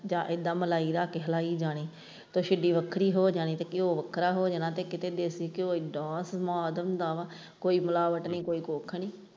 ਇੱਦਾਂ ਮਲਾਈ ਰੱਖ ਕੇ ਤੇ ਹਲਾਈ ਜਾਣੀ ਤੇ ਸਿੱਲੀ ਵੱਖਰੀ ਹੋ ਜਾਣੀ ਤੇ ਘਿਉ ਵੱਖਰਾ ਹੋ ਜਾਣਾ ਤੇ ਕਿਤੇ ਦੇਸੀ ਘਿਉ ਇੰਨਾ ਸਵਾਦ ਹੁੰਦਾ ਵਾ ਕੋਈ ਮਿਲਾਵਟ ਨਹੀਂ ਕੋਈ ਕੁੱਝ ਨਹੀਂ।